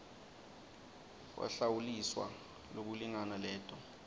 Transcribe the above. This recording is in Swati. wahlawuliswa lokulingana leto